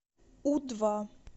у два